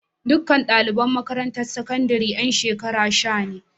Duka ɗaliban makarantar sakandaren ƴan shekara sha ne.